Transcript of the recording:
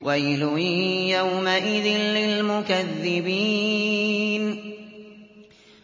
وَيْلٌ يَوْمَئِذٍ لِّلْمُكَذِّبِينَ